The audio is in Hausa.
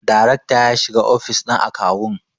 daracta ya shiga ofis din akawun